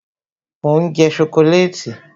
mo n je sokoleti